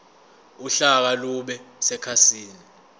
uhlaka lube sekhasini